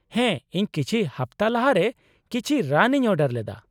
ᱦᱮᱸ ᱤᱧ ᱠᱤᱪᱷᱤ ᱦᱟᱯᱛᱟ ᱞᱟᱦᱟᱨᱮ ᱠᱤᱪᱷᱤ ᱨᱟᱱ ᱤᱧ ᱚᱰᱟᱨ ᱞᱮᱫᱟ ᱾